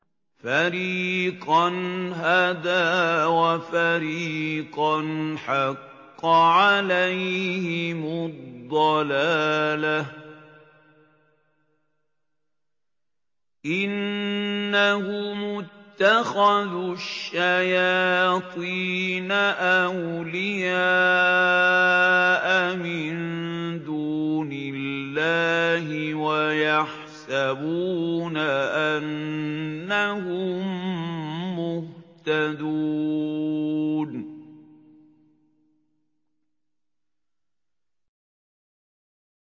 فَرِيقًا هَدَىٰ وَفَرِيقًا حَقَّ عَلَيْهِمُ الضَّلَالَةُ ۗ إِنَّهُمُ اتَّخَذُوا الشَّيَاطِينَ أَوْلِيَاءَ مِن دُونِ اللَّهِ وَيَحْسَبُونَ أَنَّهُم مُّهْتَدُونَ